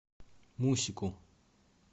мусику